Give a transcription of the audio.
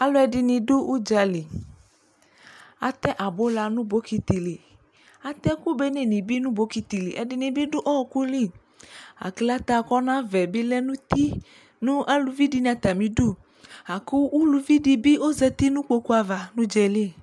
alu ɛdini du udzali atɛ abula nu bokiti li atɛ ɛku béné ni bi nu bokiti li ɛdini bi du ɔku li aklaté kɔ navɛ bi lɛ nu uti nu aluvi dini atami du laku uluvidi bi ɔzɛti nu kpokpuava nu udzɛli